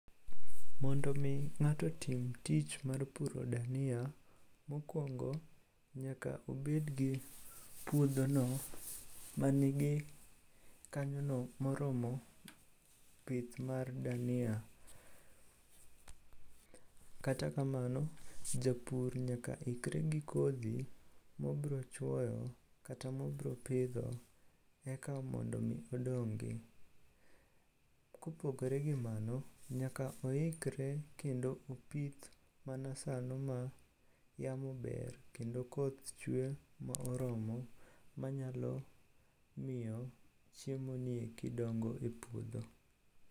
Mondo omi ng'ato otim tich mar puro dania, mokwongo nyaka obedgi puodhono mangi kanyono moromo pith mar dania. Kata kamano, japur nyaka ikre gi kodhi mobrochwoyo kata mobropidho eka mondo omi odongi. Kopogre gi mano, nyaka oikre kendo opith mana sano ma yamo ber kendo koth chwe ma oromo manyalo miyo chiemoni eki dongo e puodho.